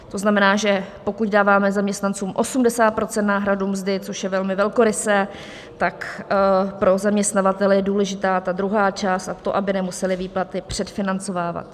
To znamená, že pokud dáváme zaměstnancům 80 % náhradu mzdy, což je velmi velkorysé, tak pro zaměstnavatele je důležitá ta druhá část, a to aby nemuseli výplaty předfinancovávat.